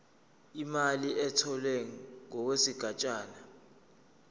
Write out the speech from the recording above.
imali etholwe ngokwesigatshana